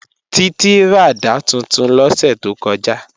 Títí ràdá tuntun lọ́sẹ̀ tó kọjá